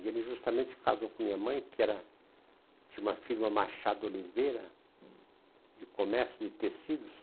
E ele justamente casou com minha mãe, que era, tinha uma firma Machado Oliveira, de comércio de tecidos.